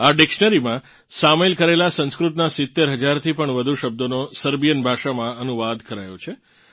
આ ડિક્શનરીમાં સામેલ કરેલ સંસ્કૃતનાં 70 હજારથી પણ વધુ શબ્દોનો સર્બિયન ભાષામાં અનુવાદ કરાયો છે